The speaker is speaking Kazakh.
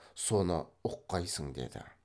соны ұққайсың деді